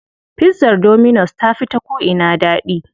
Pizzar dominus ta fi da ko'ina daɗi.